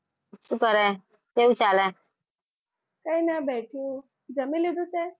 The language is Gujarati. જમી લીધું તે